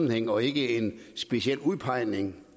vil indgå i en forhandling